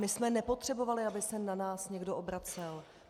My jsme nepotřebovali, aby se na nás někdo obracel.